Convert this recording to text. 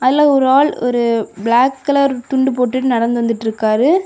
இதுல ஒரு ஆள் ஒரு பிளாக் கலர் துண்டு போட்டுட்டு நடந்து வந்துட்ருக்காரு.